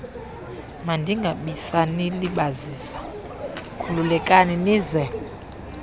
mandingabisanilibazisa khululekani nize